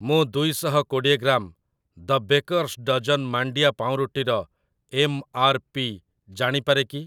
ମୁଁ ଦୁଇଶହ କୋଡ଼ିଏ ଗ୍ରାମ୍ 'ଦ ବ୍ୟାକର୍ସ ଡଜନ୍' ମାଣ୍ଡିଆ ପାଉଁରୁଟିର ଏମ୍‌.ଆର୍‌.ପି. ଜାଣିପାରେ କି ?